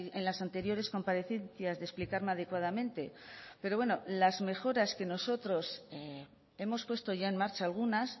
en las anteriores comparecencias de explicarme adecuadamente pero bueno las mejoras que nosotros hemos puesto ya en marcha algunas